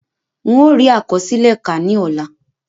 N ó rí àkọsílẹ̀ kà ní ọ̀la